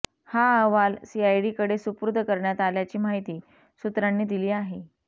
हा अहवाल सीआयडीकडे सूपुर्द करण्यात आल्याची माहिती सूत्रांनी दिली आहे